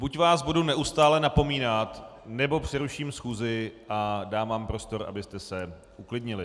Buď vás budu neustále napomínat, nebo přeruším schůzi a dám vám prostor, abyste se uklidnili.